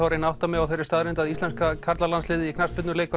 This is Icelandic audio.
að reyna að átta mig á þeirri staðreynd að íslenska karlalandsliðið í knattspyrnu leikur